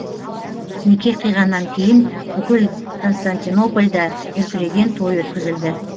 неке қиғаннан кейін бүкіл константинопольде дүркіреген той өткізілді